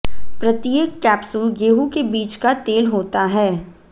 प्रत्येक कैप्सूल गेहूं के बीज का तेल होता है